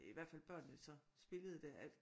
I hvert fald børnene så spillede det at